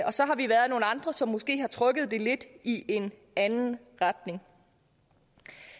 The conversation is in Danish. og så har vi været nogle andre som måske har rykket det lidt i en anden retning